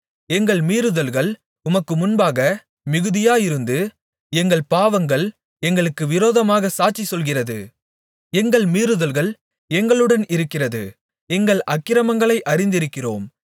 எங்கள் மீறுதல்கள் உமக்கு முன்பாக மிகுதியாயிருந்து எங்கள் பாவங்கள் எங்களுக்கு விரோதமாகச் சாட்சி சொல்கிறது எங்கள் மீறுதல்கள் எங்களுடன் இருக்கிறது எங்கள் அக்கிரமங்களை அறிந்திருக்கிறோம்